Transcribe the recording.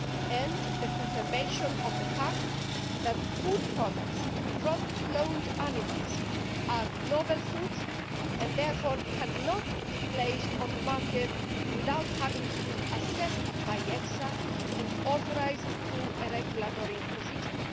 and the confirmation of the fact that food products from cloned animals are novel foods and therefore cannot be placed on the market without having been assessed by EFSA and authorised through a regulatory procedure.